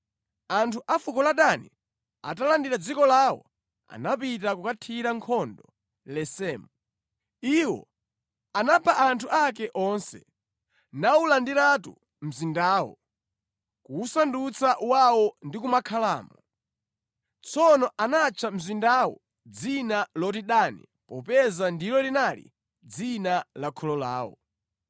Anthu a fuko la Dani atalandidwa dziko lawo, anapita kukathira nkhondo Lesemu. Iwo anapha anthu ake onse, nawulandiratu mzindawo, kuwusandutsa wawo ndi kumakhalamo. Tsono anatcha mzindawo dzina loti Dani popeza ndilo linali dzina la kholo lawo.